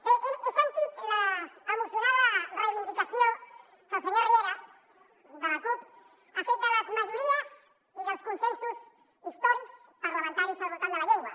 bé he sentit l’emocionada reivindicació que el senyor riera de la cup ha fet de les majories i dels consensos històrics parlamentaris al voltant de la llengua